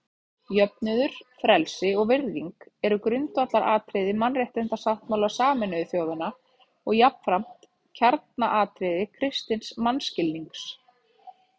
Jöfnuður, frelsi og virðing eru grundvallaratriði Mannréttindasáttmála Sameinuðu þjóðanna og jafnframt kjarnaatriði kristins mannskilnings.